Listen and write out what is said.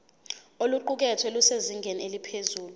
oluqukethwe lusezingeni eliphezulu